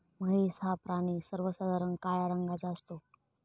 म्हैस हा प्राणी सर्वसाधारण काळ्या रंगाचा असतो.